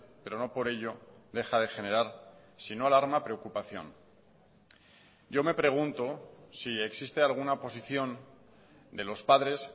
pero no por ello deja de generar sino alarma preocupación yo me pregunto si existe alguna posición de los padres